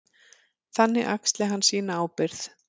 Þannig axli hann sína ábyrgð.